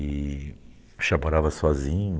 E já morava sozinho.